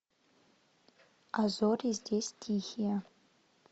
а зори здесь тихие